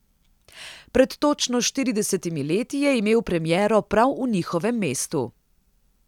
Pred točno štiridesetimi leti je imel premiero prav v njihovem mestu.